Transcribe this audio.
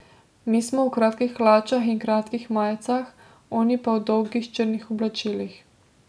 Mi smo v kratkih hlačah in kratkih majicah, oni pa v dolgih črnih oblačilih.